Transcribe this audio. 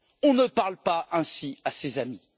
On ne parle pas ainsi à ses amis.